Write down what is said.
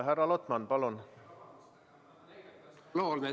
Härra Lotman, palun!